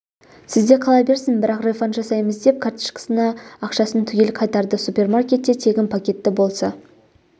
сізде қала берсін бірақ рефанд жасаймыз деп карточкасына ақшасын түгел қайтарды супермаркетте тегін пакетті болса